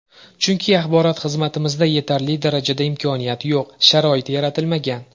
Chunki axborot xizmatimizda yetarli darajada imkoniyat yo‘q, sharoit yaratilmagan.